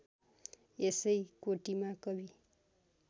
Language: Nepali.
यसै कोटिमा कवि